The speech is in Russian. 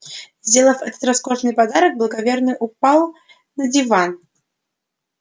сделав этот роскошный подарок благоверный упал на диван